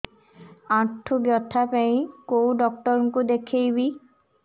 ଆଣ୍ଠୁ ବ୍ୟଥା ପାଇଁ କୋଉ ଡକ୍ଟର ଙ୍କୁ ଦେଖେଇବି